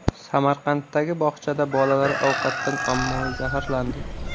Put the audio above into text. Samarqanddagi bog‘chada bolalar ovqatdan ommaviy zaharlandi.